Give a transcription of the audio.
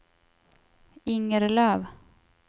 Inger Löf